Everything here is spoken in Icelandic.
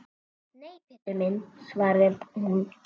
Nei, Pétur minn svaraði hún.